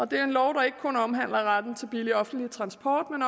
det er en lov der ikke kun omhandler retten til billig offentlig transport